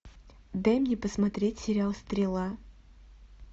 дай мне посмотреть сериал стрела